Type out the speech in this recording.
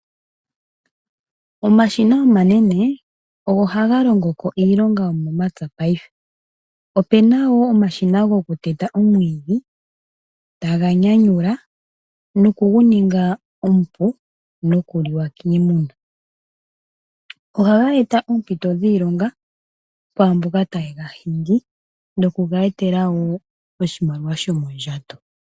Omashina omanene ogo hagalongo ko iilonga yomepya taga nyanyula omwidhi opo guninge omupu guvule oku liwa koongommbe, oha gatu kongele wo iilonga kwaamboka taye gahingi opo yamone iimaliwa yomondjato.